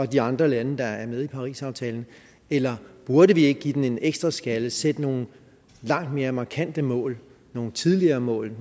de andre lande der er med i parisaftalen eller burde vi ikke give den en ekstra skalle og sætte nogle langt mere markante mål nogle tidligere mål